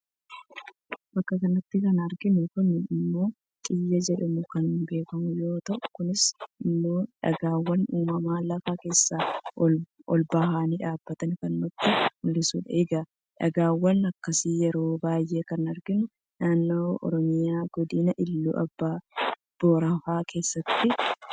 Bakka kanatti kan arginu kun immoo xiyya jedhamuun kan beekamu yoo ta'u, kunis immoo dhagaawwan uumamaan lafa keessaa olbahanii dhaabbatan kan nutti mul'isudha. Egaa dhagaawwan akkasii yeroo baay'ee kan arginu naannoo oromiyaa godina iluu abbaa booraafaa keessattidha.